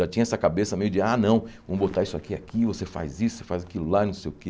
Já tinha essa cabeça meio de, ah, não, vamos botar isso aqui aqui, você faz isso, você faz aquilo lá, não sei o quê.